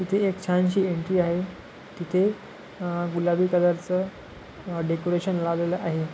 तिथे एक छानशी एंट्री आहे तिथे गुलाबी कलरच डेकोरेशन लावलेल आहे.